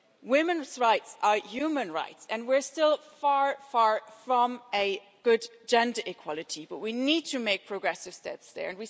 Women's rights are human rights, and we're still far from real gender equality but we need to take progressive steps here.